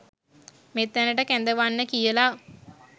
මෙතැනට කැඳවන්න කියලා.